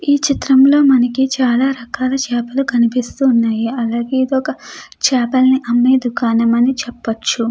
ఈ చిత్రంలో మనకి చాలా రకాల చాపలు కనిపిస్తూ ఉన్నాయి. అలాగే ఇది ఒక చాపల్ని అమ్మే దుకాణం అని అనవచ్చు.